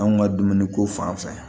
Anw ka dumuniko fan fɛ